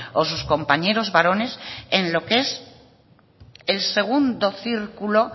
o sus compañeros varones en lo que es el segundo círculo